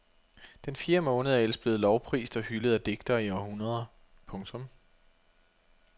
Den fjerde måned er ellers blevet lovprist og hyldet af digtere i århundreder. punktum